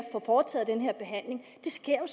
få foretaget den her behandling det sker jo